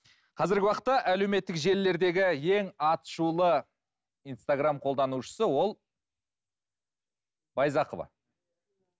қазіргі уақытта әлеуметтік желілердегі ең аты шулы инстаграмм қолданушысы ол байзақова